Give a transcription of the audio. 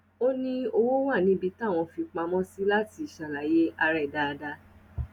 ó ní ó wà níbi táwọn fi í pamọ sí láti ṣàlàyé ara ẹ dáadáa